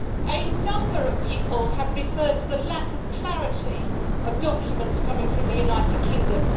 A number of people have referred to the lack of clarity of documents coming from the United Kingdom.